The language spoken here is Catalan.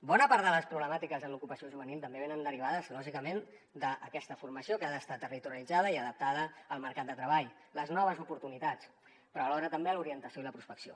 bona part de les problemàtiques en l’ocupació juvenil també venen derivades lògicament d’aquesta formació que ha d’estar territorialitzada i adaptada al mercat de treball les noves oportunitats però alhora també a l’orientació i la prospecció